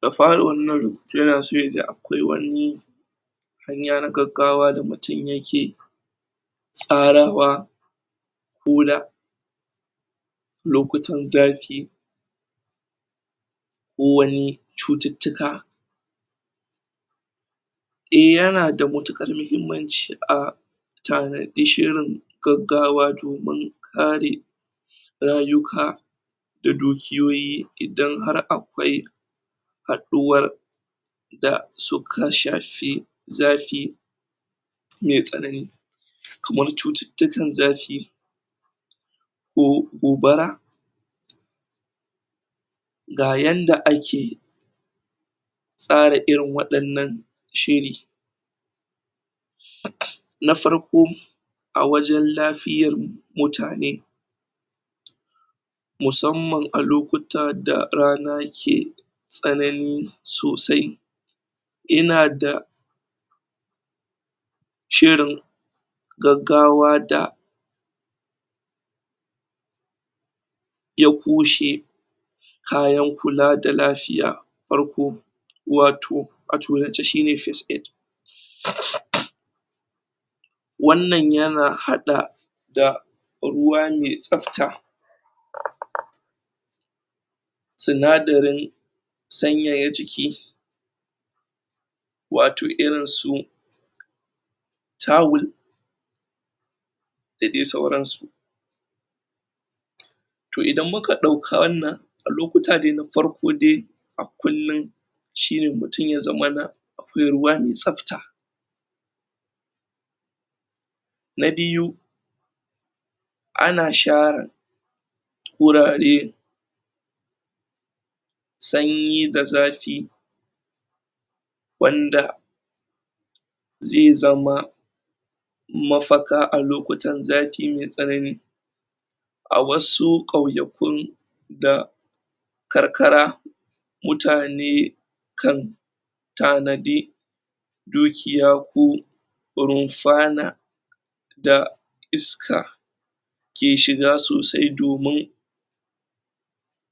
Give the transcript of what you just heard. Na faruwar nan, ya na so ya ji akwai wani hanya na gaggawa mutum yake tsarawa ko da lokutan zafi wani cututuka eh yana da matukar mahimmanci a gaggawa domin kari rayuka da dukuyoyi idan har akwai haduwar da su kashashe zafi me tsanani kamar cututukan zafi ko gobara ga yanda ake tsara irin wadannan shiri. Na farko a wajen lafiyar mutane musamman a lokuta da rana ke tsanani sosai ina da shirin gaggawa da ya kushe kayan kula da lafiya. Farko watoh watoh ya ce shi ne first aid wannan ya na hada da ruwa me sabta. Sunadarin sanyaya jiki watoh irin su tawul da de sauran su toh idan mu ka dauka wannan a lokuta de na farko de a kullum shi ne mutum ya zamana akwai ruwa me sabta. Na biyu a na sharin wurare sanyi da zafi wanda ze zama mafaka a lokutan zafi me tsanani a wasu kwayaƙun da karkara mutane kan tanadi dukiya ko runfa na da iska ke shiga sosai domin